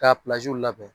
K'a labɛn